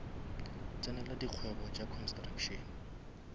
tsenela dikgwebo tša construction